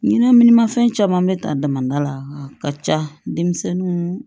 Ɲinɛ ni mafɛn caman bɛ ta dama la ka ca denmisɛnninw